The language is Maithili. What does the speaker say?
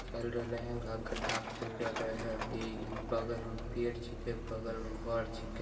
यह मेरी भाषा नहीं है मुझे समझ नहीं आ रही है।